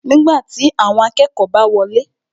Nígbàtí, awọn akẹ́kọ̀ọ́ bá wọlé